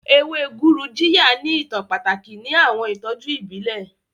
Ewe Gurujiya ni itan pataki ni awọn itọju ibile.